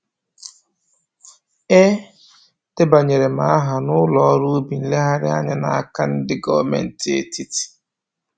E debanyere m aha ụlọ ọrụ ubi nlereanya m n'aka ndị gọmentị etiti